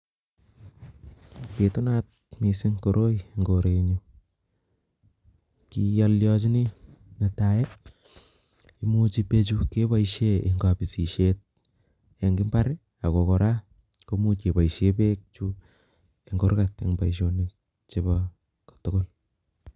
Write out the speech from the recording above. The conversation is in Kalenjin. Pitunat missing koroimemg Koren nyuun amun peechuuu kebaishee Eng kaspissheet akotnkora kebaishee Eng kurgat